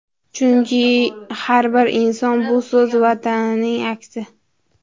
Chunki har bir inson bu o‘z vatanining aksi.